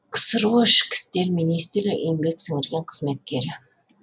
ксро ішкі істер минісирлігі еңбек сіңірген қызметкері